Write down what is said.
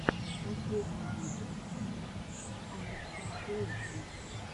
последний выпуск алекстранслейшен